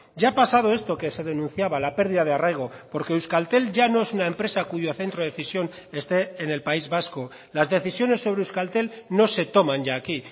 ya ha pasado esto que se denunciaba la pérdida de arraigo porque euskaltel ya no es una empresa cuyo centro de decisión este en el país vasco las decisiones sobre euskaltel no se toman ya aquí